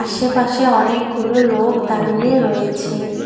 আশেপাশে অনেকগুলো লোক দাঁড়িয়ে রয়েছে।